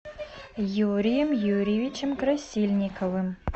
юрием юрьевичем красильниковым